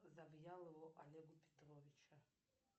завьялову олегу петровича